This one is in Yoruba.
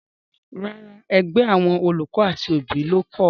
Rárá, ẹgbẹ́ àwọn olùkọ́ àti òbí ló kọ ọ